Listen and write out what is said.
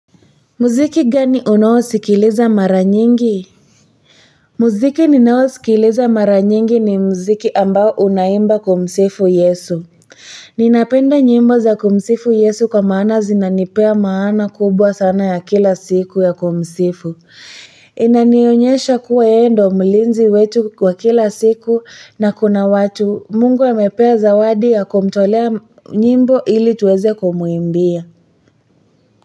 Muziki gani unao sikiliza mara nyingi muziki ninao sikiliza mara nyingi ni muziki ambao unaimba kumsifu Yesu ninapenda nyimbo za kumsifu Yesu kwa maana zinanipea maana kubwa sana ya kila siku ya kumsifu inanionyesha kuwayeyendo mlinzi wetu kwa kila siku na kuna watu Mungu amepea zawadi ya kumtolea nyimbo ili tuweze kumwimbia.